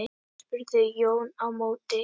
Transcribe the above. spurði Jón á móti.